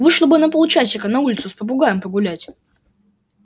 вышла бы на полчасика на улицу с попугаем погулять